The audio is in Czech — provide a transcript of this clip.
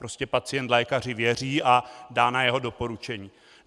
Prostě pacient lékaři věří a dá na jeho doporučení.